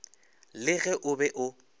le ge o be o